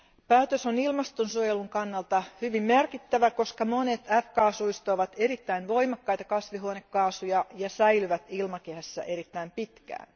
Päätös on ilmastonsuojelun kannalta hyvin merkittävä, koska monet f kaasuista ovat erittäin voimakkaita kasvihuonekaasuja ja säilyvät ilmakehässä erittäin pitkään.